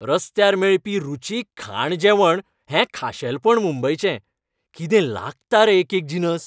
रस्त्यार मेळपी रुचीक खाण जेवण हें खाशेलपण मुंबयचें. कितें लागता रे एकेक जिनस!